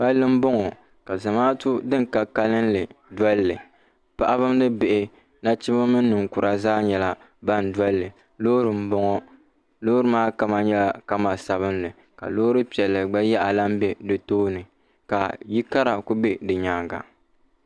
Palli m bɔŋɔ ka zamaatu din ka kalinli doli li paɣaba ni bihi nachimba ni ninkura zaa nyɛla ban dɔli li loori m bɔŋɔ loori maa kama nyɛla zaɣ sabinli ka loori piɛlli gba yaha lan be di tooni ka yikara kuli be di nyaanga